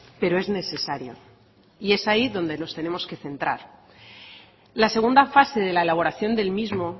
pero es necesario y es ahí donde nos tenemos que centrar la segunda fase de la elaboración del mismo